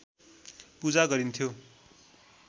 पूजा गरिन्थ्यो